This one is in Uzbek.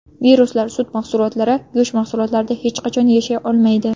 Viruslar sut mahsulotlari, go‘sht mahsulotlarida hech qachon yashay olmaydi.